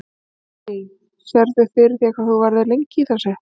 Lillý: Sérðu fyrir þér hvað þú verður í þessu lengi?